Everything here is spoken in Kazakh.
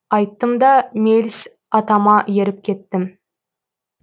айттым да меліс атама еріп кеттім